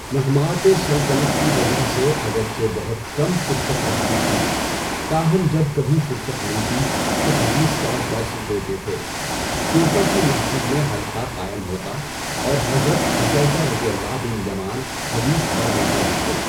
مہماتِ سلطنت کی وجہ سے اگرچہ بہت کم فرصت رہتی تھی، تاہم جب کبھی فرصت ملتی تو حدیث کا درس دیتے تھے۔ کوفہ کی مسجد میں حلقہ قائم ہوتا اور حضرت حذیفہؓ بن یمان حدیث بیان فرماتے۔